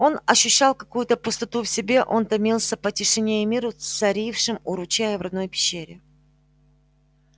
он ощущал какую-то пустоту в себе он томился по тишине и миру царившим у ручья и в родной пещере